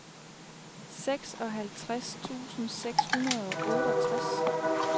seksoghalvtreds tusind seks hundrede og otteogtres